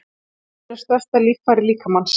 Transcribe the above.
Húðin er stærsta líffæri líkamans.